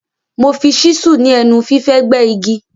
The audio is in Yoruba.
Mo fi ṣísù ni ẹnu fífẹ̀ gbẹ́ igi.